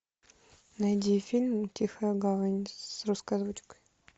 найди фильм тихая гавань с русской озвучкой